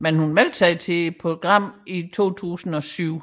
Hun meldte sig dog til programmet i 2007